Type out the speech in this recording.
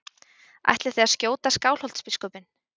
Ætlið þið að skjóta Skálholtsbiskupinn?